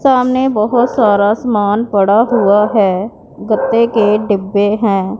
सामने बहोत सारा सामान पड़ा हुआ है गद्दे के डिब्बे हैं।